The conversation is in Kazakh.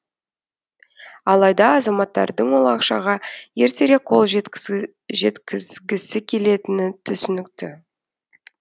алайда азаматтардың ол ақшаға ертерек қол жеткізгісі келетіні түсінікті